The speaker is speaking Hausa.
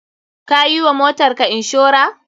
Ka yi wa motarka inshora?